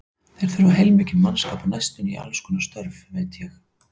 Þeir þurfa heilmikinn mannskap á næstunni í allskonar störf, veit ég.